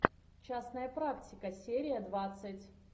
частная практика серия двадцать